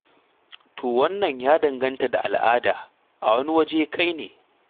To wannan ya danganta da al'ada, a wani waje, kai ne.